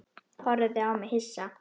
Horfði á mig hissa.